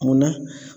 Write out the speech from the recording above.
Munna